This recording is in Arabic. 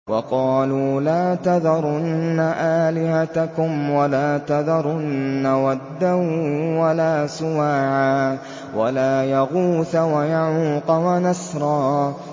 وَقَالُوا لَا تَذَرُنَّ آلِهَتَكُمْ وَلَا تَذَرُنَّ وَدًّا وَلَا سُوَاعًا وَلَا يَغُوثَ وَيَعُوقَ وَنَسْرًا